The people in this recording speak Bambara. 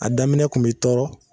A daminɛ kun b'i tɔɔrɔ